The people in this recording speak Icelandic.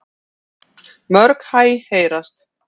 Mörg hæ heyrast.